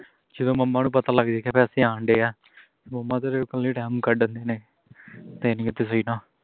ਜਦੋਂ mama ਨੂ ਪਤਾ ਲੱਗ ਜਾਏਗਾ ਪੈਸੇ ਆਂਡਿਆਂ mama ਤੇਰੇ ਕੱਲੇ time ਕੱਢਨ ਡਹੇ ਨੇ ਤਿੰਨ